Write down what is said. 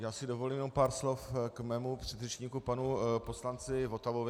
Já si dovolím jenom pár slov k svému předřečníku panu poslanci Votavovi.